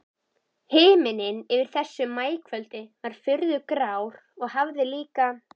Himinninn yfir þessu maíkvöldi var furðu grár og hafið líka.